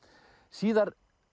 síðar